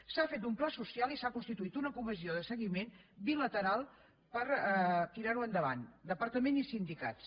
s’ha fet un pla social i s’ha constituït una comissió de seguiment bilateral per tirar ho endavant departament i sindicats